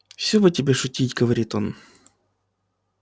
всё бы тебе шутить говорит он